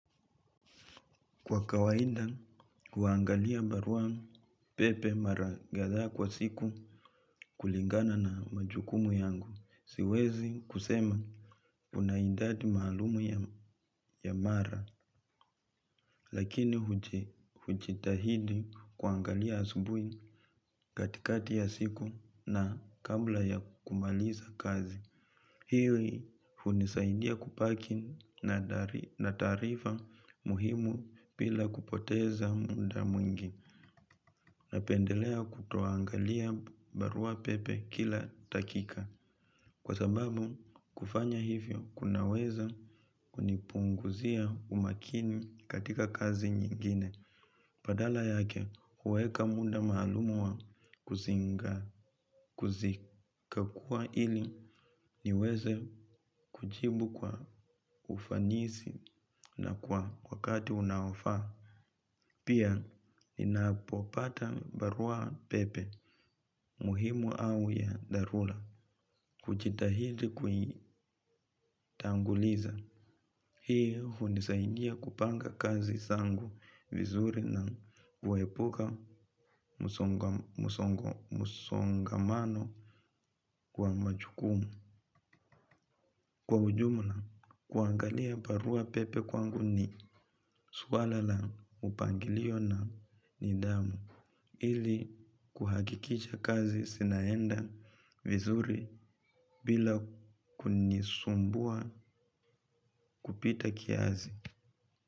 Kwa kawaida kuangalia barua pepe marakatha kwa siku kulingana na majukumu yangu, siwezi kusema unaidadi maalumu ya mara, lakini hujitahidi kuangalia asubui katikati ya siku na kabla ya kumaliza kazi. Hiwi hunisaidia kupaki na taarifa muhimu pila kupoteza munda mwingi na pendelea kutoangalia barua pepe kila takika. Kwa sababu kufanya hivyo kunaweza kunipunguzia umakini katika kazi nyingine. Padala yake huweka muda maalumu wa kuzikakuwa ili niweze kujibu kwa ufanisi na kwa wakati unaofaa. Pia ninapopata barua pepe muhimu au ya dharula kuchitahidi kuitanguliza. Hii hunisaidia kupanga kazi sangu vizuri na huwepuka msongo musongamano kwa machukumu. Kwa ujumla, kuangalia barua pepe kwangu ni swala la upangilio na nidhamu. Ili kuhagikicha kazi sinaenda vizuri bila kunisumbua kupita kiasi.